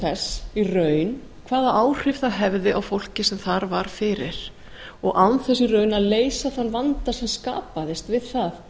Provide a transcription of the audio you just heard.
þess í raun hvaða áhrif það hefði á fólkið sem þar var fyrir og án þess í raun að leysa þann vanda sem skapaðist við það